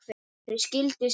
Þau skildu síðar.